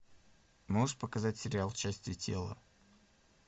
можешь показать сериал части тела